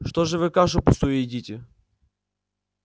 что ж вы кашу пустую едите